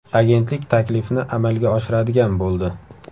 Agentlik taklifni amalga oshiradigan bo‘ldi.